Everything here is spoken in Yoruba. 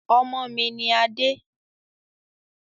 Ọmọ mi ni adé